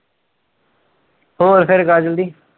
ਹੋਰ ਫਿਰ